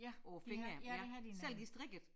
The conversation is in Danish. På æ fingre ja selv de strikkede